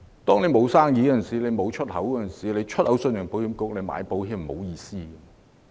當沒有生意和出口，向信保局買保險並沒有意思。